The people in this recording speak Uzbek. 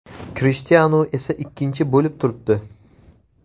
Krishtianu esa ikkinchi bo‘lib turibdi.